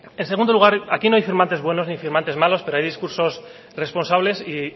en segundo lugar aquí no hay firmantes buenos ni firmantes males pero hay discursos responsables y